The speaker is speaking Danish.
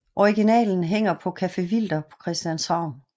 Originalet hænger på Café Wilder på Christianshavn